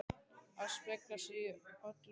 AÐ SPEGLA SIG Í ÖLLU NÚNA!